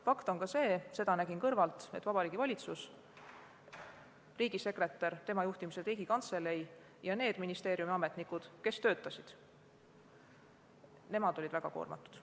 Fakt on ka see – nägin seda kõrvalt –, et Vabariigi Valitsus, riigisekretär ja tema juhitav Riigikantselei ning need ministeeriumide ametnikud, kes töötasid, olid väga koormatud.